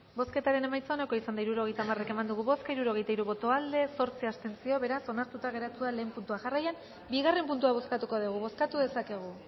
bozketaren emaitza onako izan da hirurogeita hamaika eman dugu bozka hirurogeita hiru boto aldekoa zortzi abstentzio beraz onartuta geratu da lehen puntua jarraian bigarren puntua bozkatuko dugu bozkatu dezakegu